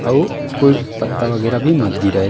अउ कोई पत्ता वगेरा भी मत गिरय --